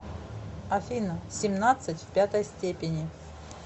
афина семнадцать в пятой степени